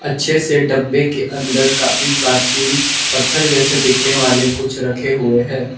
अच्छे से डब्बे के अंदर काफी प्राचीन पत्थर जैसे दिखने वाले कुछ रखे हुए हैं।